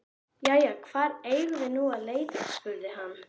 Jæja, hvar eigum við nú að leita? spurði hann.